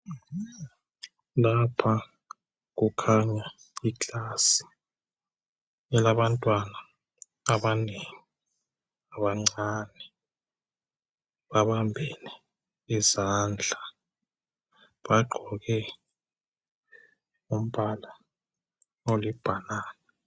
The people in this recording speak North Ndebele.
Lapha kukhanya i class elabantwana abanengi abancane babambene izandla, bagqoke umbala olibhanana.